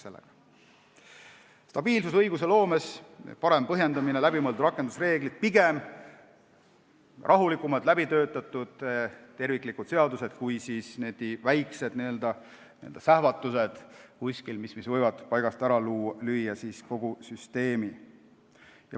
Seega, stabiilsus õigusloomes, parem põhjendamine, läbimõeldud rakendusreeglid, pigem rahulikumalt läbitöötatud terviklikud seadused kui väiksed n-ö sähvatused kuskil, mis võivad kogu süsteemi paigast ära lüüa.